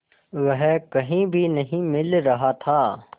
वह कहीं भी नहीं मिल रहा था